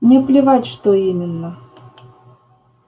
мне плевать что именно